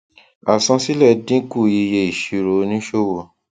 àsansílẹ dínkù iye ìsirò òníṣòwò